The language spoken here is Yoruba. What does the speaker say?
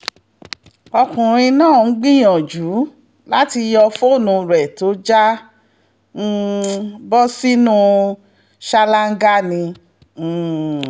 ọkùnrin náà ń gbìyànjú láti yọ fóònù rẹ̀ tó já um bọ́ sínú ṣáláńgá ni um